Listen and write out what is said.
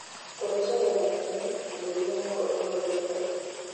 kũhaica kwa thakame, na mĩrimũ ya ngoro no ĩhote